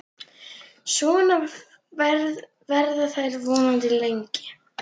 Svona verða þær vonandi lengi.